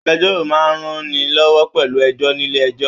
Agbẹ̀jọ́ro máa n rán ni lọwọ pẹlú ẹjọ nílé ẹjọ́.